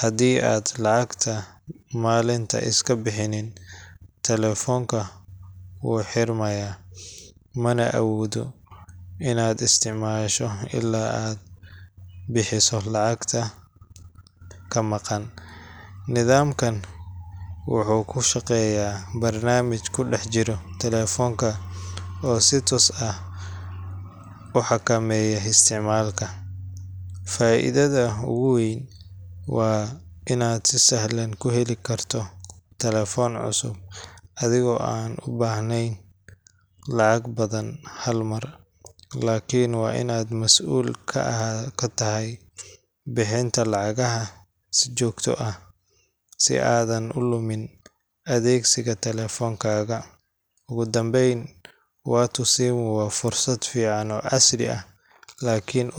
haddii aad lacagta maalinta iska bixinin, telefoonka wuu xirmayaa, mana awoodo inaad isticmaasho illaa aad bixiso lacagta ka maqan. Nidaamkan wuxuu ku shaqeeyaa barnaamij ku dhex jira taleefanka oo si toos ah u xakameeya isticmaalka. Faa’iidada ugu weyn waa inaad si sahlan ku heli karto telefoon cusub adigoo aan u baahnayn lacag badan hal mar. Laakiin waa in aad masuul ka tahay bixinta lacagaha si joogto ah, si aadan u lumin adeegsiga taleefankaaga. Ugu dambeyn, Watu Simu waa fursad fiican oo casri ah, laakiin.